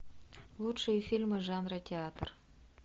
лучшие фильмы жанра театр